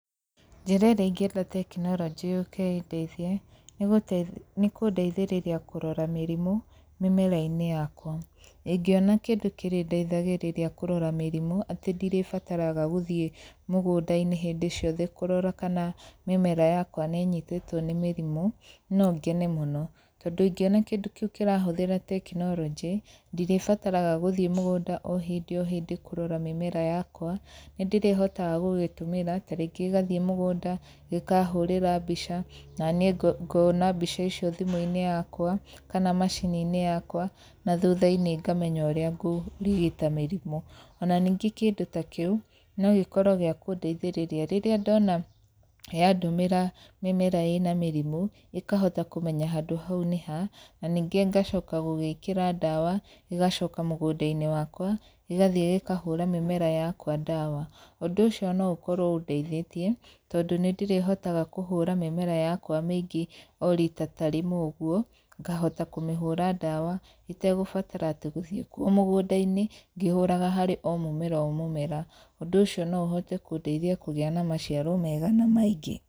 Njĩra ĩrĩa ingienda tekinoronjĩ yũke ĩndeithie, nĩ kũndeithĩrĩria kũrora mĩrimũ mĩmera-inĩ yakwa. Ingiona kĩndũ kĩrĩndeithagĩrĩria kũrora mĩrimũ atĩ ndirĩbataraga gũthiĩ mũgũnda-inĩ hĩndĩ ciothe kũrora kana mĩmera yakwa nĩ ĩnyitĩtwo nĩ mĩrimũ, no ngene mũno. Tondũ ingĩona kĩndũ kĩu kĩrahũthĩra tekinoronjĩ, ndirĩbataraga gũthiĩ mũgũnda o hĩndĩ o hĩndĩ kũrora mĩmera yakwa, nĩ ndĩrĩhotaga gũgĩtũmĩra, tarĩngĩ gĩgathiĩ mũgũnda, gĩkahũrĩra mbica, naniĩ ngona mbica icio thimũ-inĩ yakwa kana macini-inĩ yakwa, na thutha-inĩ ngamenya ũrĩa ngũrigita mĩrimũ. Ona ningĩ kĩndũ ta kĩu, no gĩkorwo gĩa kũndeithĩrĩria, rĩrĩa ndona yandũmĩra mĩmera ĩna mĩrimũ, ĩkahota kũmenya handũ hau nĩha, na ningĩ ngacoka gũgĩĩkĩra ndawa, gĩgacoka mũgũnda-inĩ wakwa, gĩgathiĩ gĩkahũra mĩmera yakwa ndawa. Ũndũ ũcio no ũkorwo ũndeithĩtie, tondũ nĩ ndĩrĩhotaga kũhũra mĩmera yakwa mĩingĩ o rita ta rĩmwe ũguo, ngahota kũmĩhũra ndawa itagũbatara atĩ gũthiĩ kuo mũgũnda-inĩ ngĩhũraga harĩ o mũmera o mũmera. Ũndũ ũcio no ũhote kũndeithia kũgĩa na maciaro mega na maingĩ.